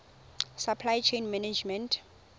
supply chain management